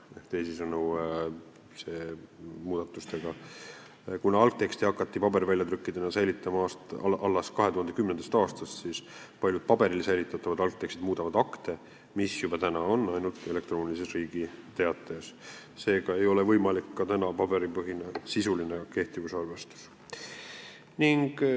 Ehk teisisõnu, kuna algtekste hakati paberväljatrükkidena säilitama alles 2010. aastast, siis paljud paberil säilitatavad algtekstid muudavad akte, mis on juba ainult elektroonilises Riigi Teatajas, seega ei ole ka täna võimalik paberipõhine sisuline kehtivusarvestus.